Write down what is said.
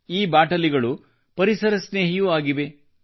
ಈ ಬಾಟಲಿಗಳು ಪರಿಸರ ಸ್ನೇಹಿಯೂ ಆಗಿವೆ